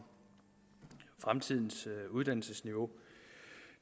fremtidens uddannelsesniveau